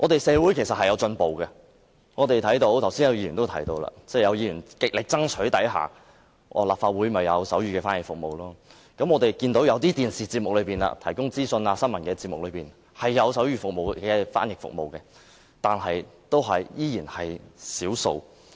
社會其實是有進步的，剛才也有議員提到，在議員極力爭取下，立法會便有提供手語翻譯服務；我們看到某些電視節目，一些資訊和新聞節目也有手語翻譯服務，但仍然只是少數。